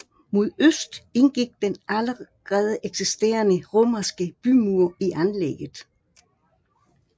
Mod øst indgik den allerede eksisterende romerske bymur i anlægget